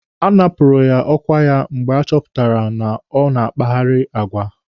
A napụrụ ya ọkwa ya mgbe a chọpụtara na ọ na-akpagheri agwa.